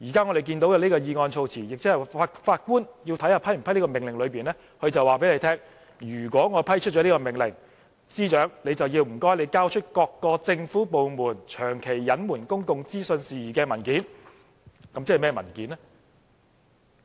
我們現在看到的議案措辭，即法官要考慮是否批出的這個命令，他就是在告訴大家，如果批出這個命令，便請司長交出各個政府部門長期隱瞞公共資訊事宜的文件，即甚麼文件呢？